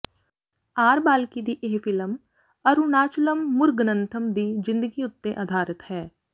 R Balki ਦੀ ਇਹ film Arunachalam Muruganantham ਦੀ ਜਿੰਦਗੀ ਉੱਤੇ ਆਧਾਰਿਤ ਹੈ